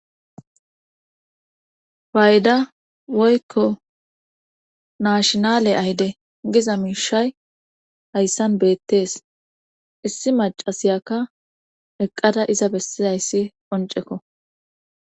Fayda woykko naashinale ayde giza miishay hayssan beettees issi macasiyakka eqqada iza bessidayssi qoncekko.